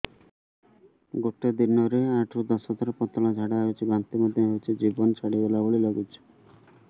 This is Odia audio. ଗୋଟେ ଦିନରେ ଆଠ ରୁ ଦଶ ଥର ପତଳା ଝାଡା ହେଉଛି ବାନ୍ତି ମଧ୍ୟ ହେଉଛି ଜୀବନ ଛାଡିଗଲା ଭଳି ଲଗୁଛି